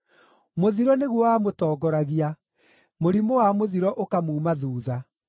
Mũthiro nĩguo wamũtongoragia; mũrimũ wa mũthiro ũkamuuma thuutha.